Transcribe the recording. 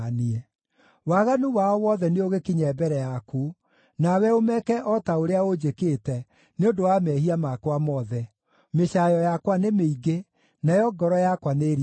“Waganu wao wothe nĩũgĩkinye mbere yaku, nawe ũmeke o ta ũrĩa ũnjĩkĩte nĩ ũndũ wa mehia makwa mothe. Mĩcaayo yakwa nĩ mĩingĩ, nayo ngoro yakwa nĩĩringĩkĩte.”